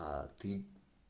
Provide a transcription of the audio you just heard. а ты